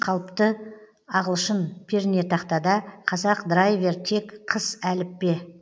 қалыпты ағылшын пернетақтада қазақ драйвер тек қыс әліппе